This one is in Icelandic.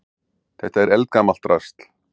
Þetta er eldgamalt drasl.